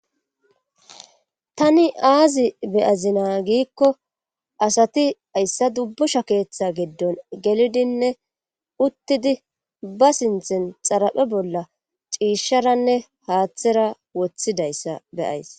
tani aazi beyazina giikko asati ayssa dubbusha keeththa giddon gelidinne uttidi ba sinthen xaraphe bolla ciisharanne haaththera woththidayssa beyays